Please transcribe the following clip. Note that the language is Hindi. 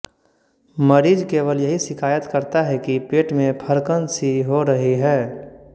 मरीज केवल यही शिकायत करता है कि पेट मे फड़कनसी हो रही है